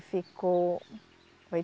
Ficou.